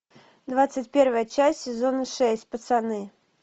двадцать первая часть сезона шесть пацаны